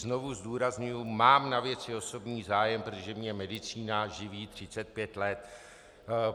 Znovu zdůrazňuji, mám na věci osobní zájem, protože mě medicína živí 35 let.